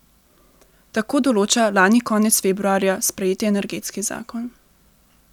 Tako določa lani konec februarja sprejeti energetski zakon.